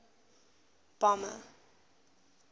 bomber